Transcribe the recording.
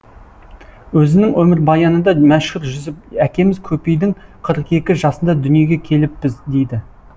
өзінің өмірбаянында мәшһүр жүсіп әкеміз көпейдің қырық екі жасында дүниеге келіппіз дейді